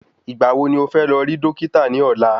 Ìgbà wo ní o fé lọ rí Dókítà ní ọ̀la??